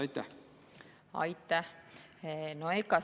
Aitäh!